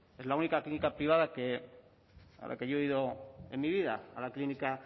es la única clínica privada a la que yo he ido en mi vida a la clínica